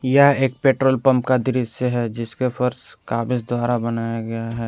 यह एक petrol pump का दृश्य है जिसके फर्श कागज द्वारा बनाया गया है।